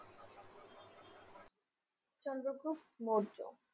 Chandragupta Maurya